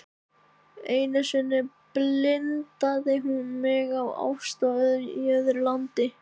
Einu sinni blindaði hún mig af ást í öðru landi.